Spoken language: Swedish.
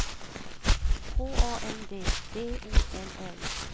H A N D B O L L